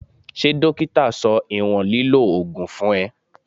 Ṣé dókítà sọ ìwọ̀n lílọ Ògùn fún ẹ?